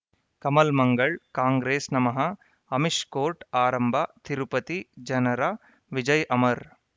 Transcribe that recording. Kamal Mangal Congress ನಮಃ Amish court ಆರಂಭ ತಿರುಪತಿ ಜನರ ವಿಜಯ್ ಅಮರ್